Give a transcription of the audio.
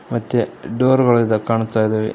ಮತ್ತೆ ಡೋರ್ ಗಳು ಇದು ಕಾಣಿಸ್ತಾ ಇದಾವೆ.